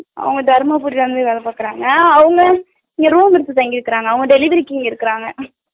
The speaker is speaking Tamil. அவங்க தருமபுரி ல இருந்து வேல பாக்குறாங்க அவங்களும் இங்க room எடுத்து தங்கிருக்காங்க அவங்க delivery க்கு இங்க இருக்குறாங்க